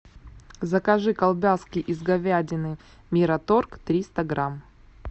закажи колбаски из говядины мираторг триста грамм